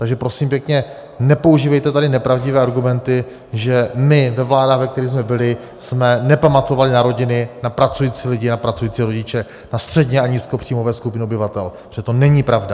Takže prosím pěkně, nepoužívejte tady nepravdivé argumenty, že my ve vládách, v kterých jsme byli, jsme nepamatovali na rodiny, na pracující lidi, na pracující rodiče, na středně- a nízkopříjmové skupiny obyvatel, protože to není pravda!